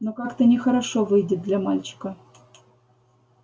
но как-то нехорошо выйдет для мальчика